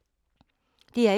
DR1